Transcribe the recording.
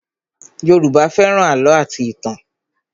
Yoruba fẹ́ràn àlọ́ àti ìtàn